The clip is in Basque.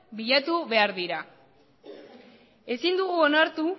bilatu behar dira ezin dugu onartu